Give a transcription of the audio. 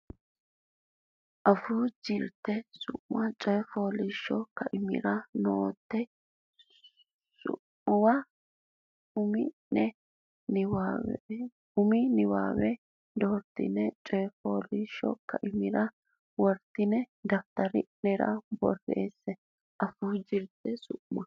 Afuu Jirte Su ma Coy fooliishsho Kaimira Onte su muwa umi nenni doortine coy fooliishsho kaimira wortinanni daftari nera borreesse Afuu Jirte Su ma.